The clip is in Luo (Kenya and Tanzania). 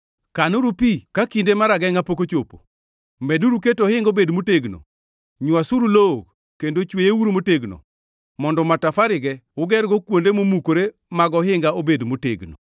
Kanuru pi ka kinde mar agengʼa pok ochopo, meduru keto ohinga obed motegno! Nywasuru lowo kendo chweyeuru motegno, mondo matafarego ugergo kuonde momukore mag ohinga obed motegno!